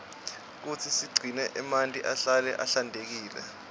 kutsi sigcine emanti ahlale ahlantekile